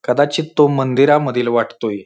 कदाचित तो मंदिरा मधील वाटतोय.